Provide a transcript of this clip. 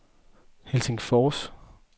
Helsingfors